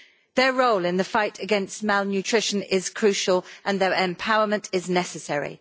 Their role in the fight against malnutrition is crucial, and their empowerment is necessary.